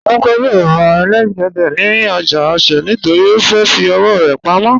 Tínúkẹ́ yóò rà ẹlẹ́gẹ̀dẹ̀ rẹ̀ ni ojá Òṣè̀ nítorí ó fẹ́ fì ọwọ̀ rẹ̀ pámọ̀.